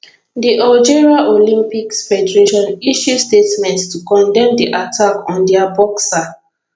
di algeria olympics federation issue statement to condemn di attack on dia boxer